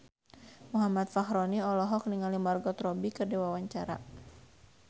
Muhammad Fachroni olohok ningali Margot Robbie keur diwawancara